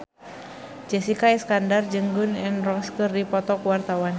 Jessica Iskandar jeung Gun N Roses keur dipoto ku wartawan